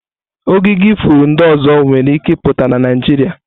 Ogige ifuru ndị ọzọ nwere ike ịpụta na Naịjirịa.